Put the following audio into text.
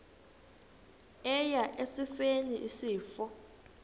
eya esifeni isifo